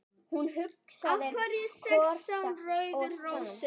Af hverju sextán rauðar rósir?